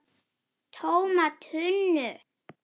TÓMA TUNNU!